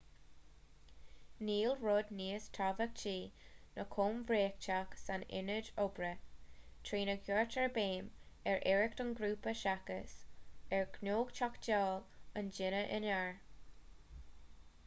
níl rud níos tábhachtaí ná comhréiteach san ionad oibre trína gcuirtear béim ar iarracht an ghrúpa seachas ar ghnóthachtáil an duine aonair